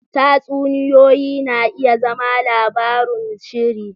Tatsuniyoyi na iya zama labarun sihiri.